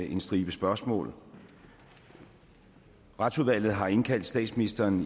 en stribe spørgsmål retsudvalget har indkaldt statsministeren